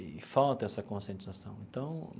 E falta essa conscientização então.